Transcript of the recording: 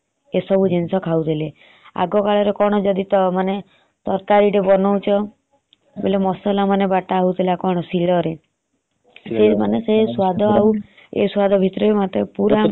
ଆଗକାଳରେ ତ ଯଦି ତରକାରୀ ତେ ବନଉଛ ମସଲା ମାନେ ବାଟ ହାଉଥିଲା ଶୀଳ ରେ ସେ ମାନେ ସେ ସ୍ବାଦ ଆଉ ଏ ସ୍ବାଦ ପୁର ଅଲଗା ହେଇଗଲାଣି।